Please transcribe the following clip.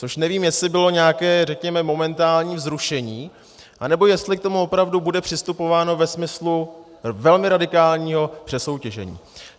Což nevím, jestli bylo nějaké, řekněme, momentální vzrušení, anebo jestli k tomu opravdu bude přistupováno ve smyslu velmi radikálního přesoutěžení.